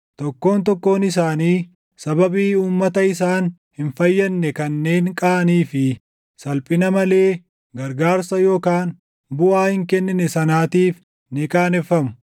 tokkoon tokkoon isaanii sababii uummata isaan hin fayyadne kanneen qaanii fi salphina malee gargaarsa yookaan buʼaa hin kennine sanaatiif ni qaaneffamu.”